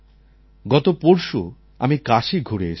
গত পরশু আমি কাশী ঘুরে এসেছি